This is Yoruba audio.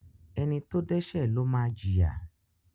Ẹni tó dẹ́ṣẹ́ ló máa jìyà.